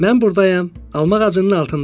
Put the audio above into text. Mən burdayam, alma ağacının altında.